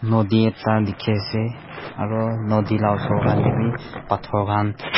nodi ekta dikhi ase aro nodi na osor khan tey wi pathor khan.